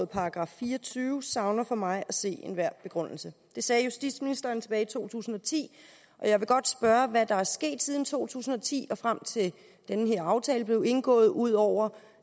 § fire og tyve savner for mig at se enhver begrundelse det sagde justitsministeren tilbage i to tusind og ti jeg vil godt spørge hvad er der sket siden to tusind og ti og frem til at den her aftale blev indgået ud over